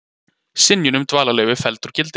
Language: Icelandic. Synjun um dvalarleyfi felld úr gildi